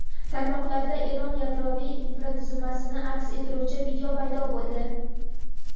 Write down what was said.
Tarmoqlarda Eron yadroviy infratuzilmasini aks ettiruvchi video paydo bo‘ldi.